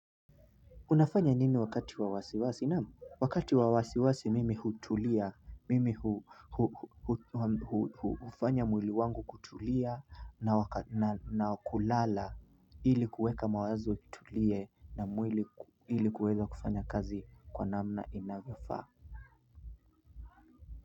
Unafanya nini wakati wa wasiwasi? Naam wakati wawasiwasi mimi hutulia, mimi hufanya mwili wangu kutulia na kulala ili kuweka mawazo kutulie na mwili ili kuweza kufanya kazi kwa namna inavyofaa.